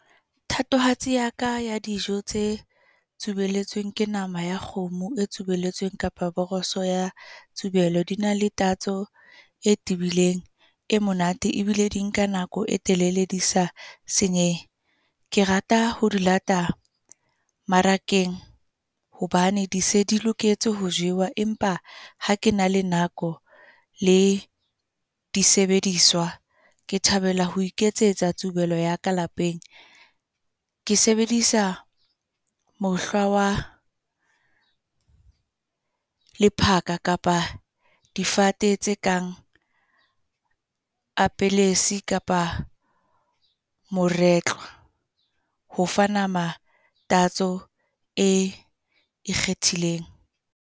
Thatohatsi ya ka ya, dijo tse tsubelletsweng. Ke nama ya kgomo e tsubelletsweng kapa boroso ya tsubelo. Di na le tatso e tibileng e monate. Ebile di nka nako e telele, di sa senyehe. Ke rata ho di lata mmarakeng hobane di se di loketse ho jewa. Empa ha ke na le nako le disebediswa. Ke thabela ho iketsetsa tsubelo ya ka lapeng. Ke sebedisa mohlwa wa lephaka kapa difate tse kang apelesi kapa moretlwa, ho fa nama e ikgethileng.